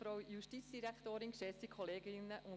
Auch aus diesem Grund lehnen wir die Motion ab.